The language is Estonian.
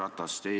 Härra Ratas!